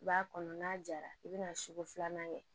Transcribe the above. I b'a kɔnɔ n'a jara i bɛna sugu filanan kɛ